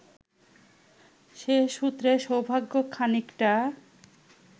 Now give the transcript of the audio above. সে সূত্রে সৌভাগ্য খানিকটা